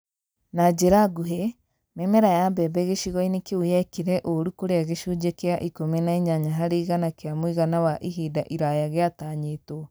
Na njĩra nguhĩ, mĩmera ya mbembe gĩcigo-inĩ kĩu yekire ũũru kũrĩa gĩcunjĩ kĩa ikũmi na inyanya harĩ igana kĩa mũigana wa ihinda iraya gĩtanyĩtwo